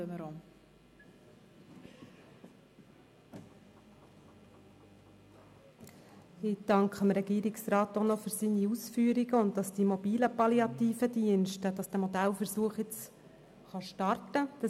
Ich danke dem Regierungsrat für seine Ausführungen und auch dafür, dass die mobilen palliativen Dienste, dieser Modellversuch, jetzt starten kann.